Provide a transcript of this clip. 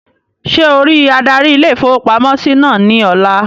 Ṣé ọ rí adarí ilé-ìfowópamọ́sí náà ní ọ̀la?